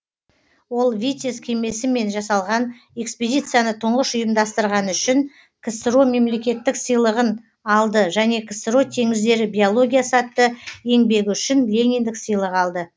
ол витязь кемесімен жасалған экспедицияны тұңғыш ұйымдастырғаны үшін ксро мемлекеттік сыйлығын алды және ксро теңіздері биологиясы атты еңбегі үшін лениндік сыйлық алды